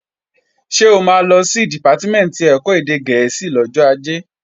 Ṣé o máa lọ sí Dìpátímẹ̀ntì ẹ̀kọ́ èdè gẹ̀ẹ́sì lọ́jọ́ Ajé?